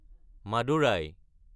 Madurai